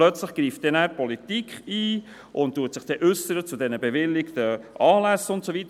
– Plötzlich greift die Politik ein und äussert sich zu den bewilligten Anlässen und so weiter.